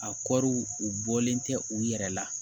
A kɔri u bɔlen tɛ u yɛrɛ la